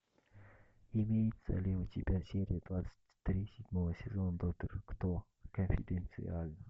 имеется ли у тебя серия двадцать три седьмого сезона доктор кто конфиденциально